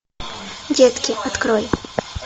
детки открой